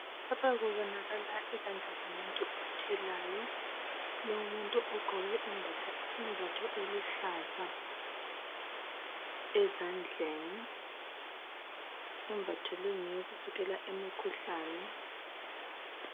Lapha kubonakala izandla zomuntu othelayo, kulomuntu ogqoke imbatho eluhlaza ezandleni, imbatho leyi ngeyokuvikela imkhuhlane.